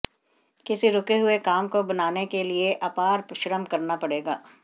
किसी रुके हुए काम को बनाने के लिए अपार श्रम करना पड़ेगा